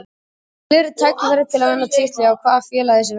Ég vil fá fleiri tækifæri til að vinna titla, hjá hvaða félagi sem það verður.